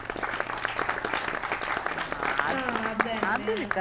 ആ അതെന്നെ